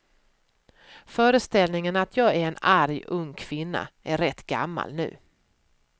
Föreställningen att jag är en arg ung kvinna är rätt gammal nu.